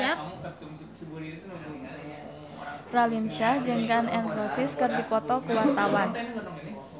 Raline Shah jeung Gun N Roses keur dipoto ku wartawan